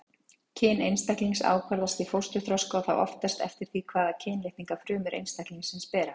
Kyn einstaklings ákvarðast í fósturþroska og þá oftast eftir því hvaða kynlitninga frumur einstaklingsins bera.